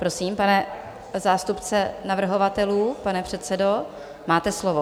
Prosím, pane zástupce navrhovatelů, pane předsedo, máte slovo.